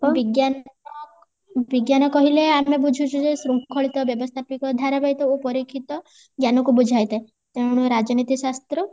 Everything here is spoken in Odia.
ବିଜ୍ଞାନର ବୁଜ୍ଞାନ କହିଲେ ଆମେ ବୁଝୁଛୁ ଯେ ଶୃଙ୍ଖଳିତ ବ୍ୟବସ୍ଥାପିକ ଧାରାବାହିତ ଓ ପରୀକ୍ଷିତ ଜ୍ଞାନକୁ ବୁଝାଇ ଥାଏ ତେଣୁ ରାଜନୀତି ଶାସ୍ତ୍ର